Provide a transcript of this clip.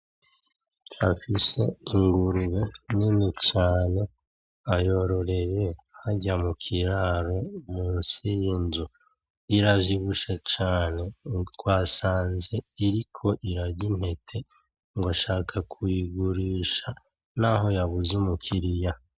Afise ingurube nini cane, ayororeye harya mukiraro, munsi yiyo nzu. Iravyibushe cane. Twasanze iriko irarya intete ngo ashaka kuyigurisha naho yabuze umukiriya.